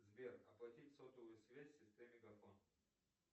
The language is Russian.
сбер оплатить сотовую связь сестре мегафон